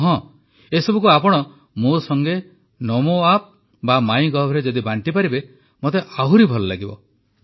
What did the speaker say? ଆଉ ହଁ ଏସବୁକୁ ଆପଣ ମୋ ସଂଗେ ନମୋଆପ୍ ବା ମାଇଁଗଭରେ ଯଦି ବାଣ୍ଟିପାରିବେ ମୋତେ ଆହୁରି ଭଲ ଲାଗିବ